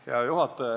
Hea juhataja!